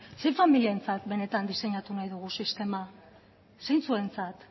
zein familientzat benetan diseinatu nahi dugu sistema zeintzuentzat